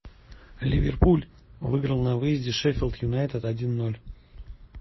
ливерпуль выиграл на выезде шеффилд юнайтед один ноль